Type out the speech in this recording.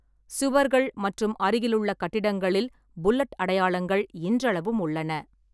சுவர்கள் மற்றும் அருகிலுள்ள கட்டிடங்களில் புல்லட் அடையாளங்கள் இன்றளவும் உள்ளன.